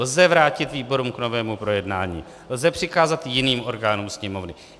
Lze vrátit výborům k novému projednání, lze přikázat jiným orgánům Sněmovny.